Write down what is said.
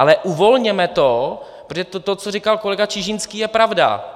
Ale uvolněme to, protože to, co říkal kolega Čižinský, je pravda.